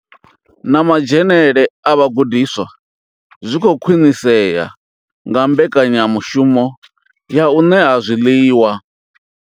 Na madzhenele a vhagudiswa zwi khou khwinisea nga mbekanyamushumo ya u ṋea zwiḽiwa.